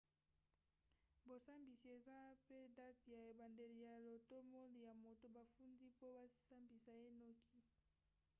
bosambisi eza mpe date ya ebandeli ya lotomo ya moto bafundi mpo basambisa ye noki